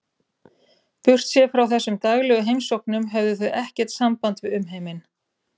Burtséð frá þessum daglegu heimsóknum höfðu þau ekkert samband við umheiminn.